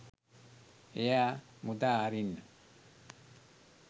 එයා මුදා හරින්න